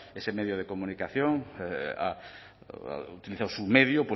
ese medio de comunicación ha utilizado su medio